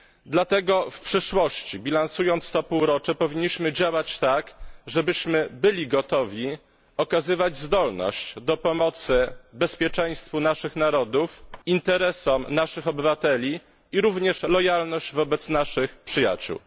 Dlatego w przyszłości, bilansując to półrocze, powinniśmy działać tak, żebyśmy byli gotowi okazywać zdolność do pomocy bezpieczeństwu naszych narodów, interesom naszych obywateli, a także lojalność wobec naszych przyjaciół.